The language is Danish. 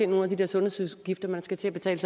nogle af de der sundhedsudgifter man skal til at betale